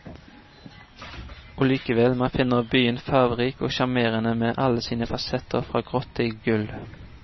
Og likevel, man finner byen farverik og sjarmerende med alle sine fasetter fra grått til gull.